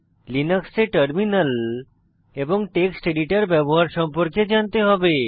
লিনাক্সে টার্মিনাল এবং text editor ব্যবহার সম্পর্কে জানতে হবে